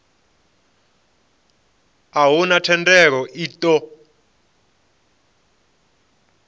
a huna thendelo i ṱo